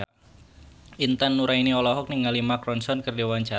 Intan Nuraini olohok ningali Mark Ronson keur diwawancara